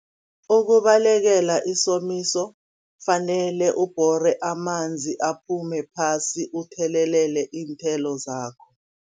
Ukubalekela isomiso kufanele ubhore amanzi, aphume phasi, uthelelele iinthelo zakho.